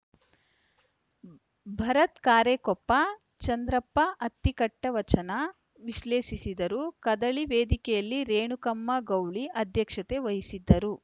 ಭರತ್‌ ಕಾರೆಕೊಪ್ಪ ಚಂದ್ರಪ್ಪ ಅತ್ತಿಕಟ್ಟಿವಚನ ವಿಶ್ಲೇಷಿಸಿದರು ಕದಳಿ ವೇದಿಕೆಯ ರೇಣುಕಮ್ಮಗೌಳಿ ಅಧ್ಯಕ್ಷತೆ ವಹಿಸಿದ್ದರು